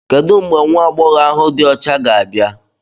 Kedu mgbe nwa agbọghọ ahu di ocha ga-abịa?